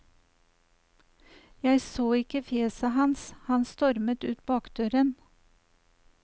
Jeg så ikke fjeset hans, han stormet ut bakdøren.